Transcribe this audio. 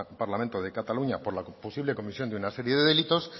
parlamento de cataluña por la posible comisión de un serie de delitos